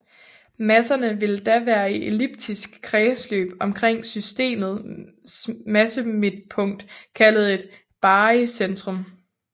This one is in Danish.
Masserne vil da være i elliptiske kredsløb omkring systemet massemidtpunkt kaldet et barycentrum